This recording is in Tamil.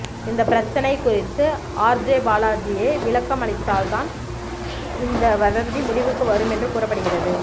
இந்த பிரச்சனை குறித்து ஆர்ஜே பாலாஜியே விளக்கம் அளித்தால் தான் இந்த வதந்தி முடிவுக்கு வரும் என்று கூறப்படுகிறது